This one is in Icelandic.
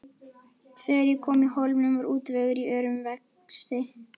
Þegar ég kom í Hólminn var útvegur í örum vexti.